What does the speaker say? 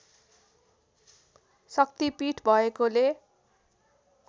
शक्ति पीठ भएकोले